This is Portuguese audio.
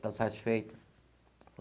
Está satisfeita?